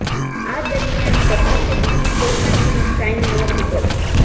આ દરમિયાન પ્રભાસે બીજી કોઈ પણ ફિલ્મ સાઇન નહોતી કરી